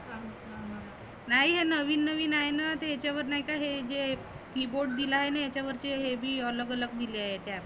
नाही नविन नविन आहे ना. ते ह्याच्यावर नाही का हे जे keyboard दिलाय याच्या वरती ते बी अलग अलग दिलाय त्यात.